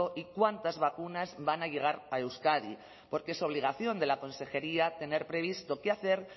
y cuántas vacunas van a llegar a euskadi porque es obligación de la consejería tener previsto qué hacer